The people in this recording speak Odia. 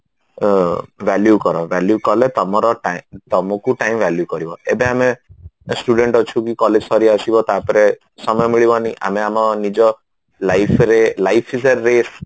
ଅ value କର value କଲେ ତମର time ତମକୁ time value କରିବ ଏବେ ଆମେ student ଅଛୁ କି college ସରିଆସିବ ତାପରେ ସମୟ ମିଳିବନି ଆମେ ଆମ ନିଜ life ରେ life is a race